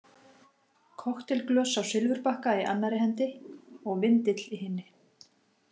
Kokteilglös á silfurbakka í annarri hendi og vindill í hinni.